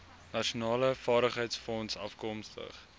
nasionale vaardigheidsfonds afkomstig